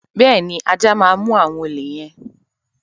Bẹ́ẹ̀ ni, ajá máa mú àwọn olè yẹn.